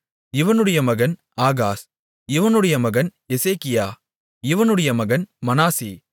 இவனுடைய மகன் ஆகாஸ் இவனுடைய மகன் எசேக்கியா இவனுடைய மகன் மனாசே